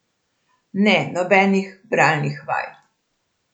Ne, nobenih bralnih vaj.